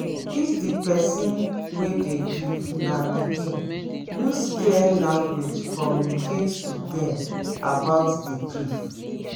if di person wey dey grief na pikin use clear language communicate to them about di grief